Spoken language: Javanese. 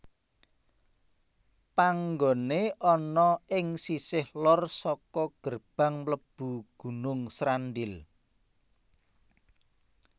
Panggoné ana ing sisih lor saka gerbang mlebu Gunung Srandil